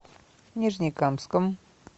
нижнекамском